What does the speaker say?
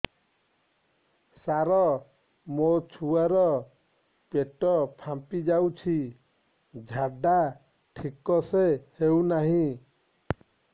ସାର ମୋ ଛୁଆ ର ପେଟ ଫାମ୍ପି ଯାଉଛି ଝାଡା ଠିକ ସେ ହେଉନାହିଁ